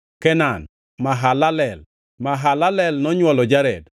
Kenan, Mahalalel. Mahalalel nonywolo Jared,